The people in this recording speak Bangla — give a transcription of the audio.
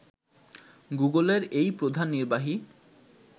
গুগলের এই প্রধান নির্বাহী